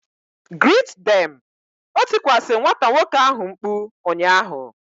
Greet them! O tikwasi nwata nwoke ahu mkpu ụnyaahụ